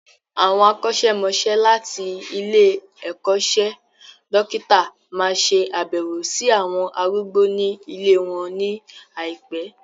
Àwọn akọ́ṣẹ́mọsẹ́ láti ilé-ẹ̀kọ́ṣẹ́ dókítà máa ṣe abewo sí àwọn arúgbó ní ilée wọn ní àìpé.